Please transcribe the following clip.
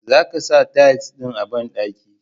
Zaka sa tiles ɗin a banɗaki.